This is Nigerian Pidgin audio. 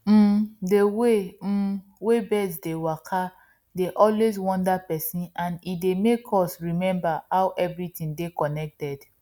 um dey way um wey birds dey waka dey always wonder person and e make us remember how everything dey connected